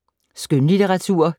Skønlitteratur